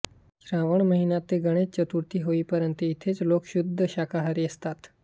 श्रावण महिना ते गणेशचतुर्थी होईपर्यंत इथले लोक शुद्ध शाकाहारी असतात